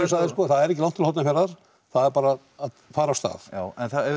sagði sko það er ekki langt til Hornafjarðar það er bara að fara af stað já en ef við